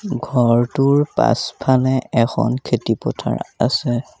ঘৰটোৰ পাছফালে এখন খেতি পথাৰ আছে।